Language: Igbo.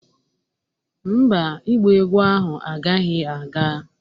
Mba, ịgba egwu ahụ agaghị aga